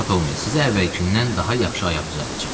Narahat olmayın, sizə əvvəlkindən daha yaxşı ayaq düzəldəcəm.